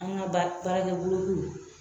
An ka baara